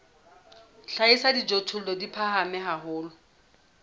hlahisa dijothollo di phahame haholo